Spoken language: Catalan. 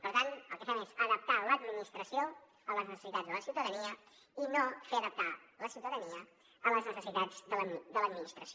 per tant el que fem és adaptar l’administració a les necessitats de la ciutadania i no fer adaptar la ciutadania a les necessitats de l’administració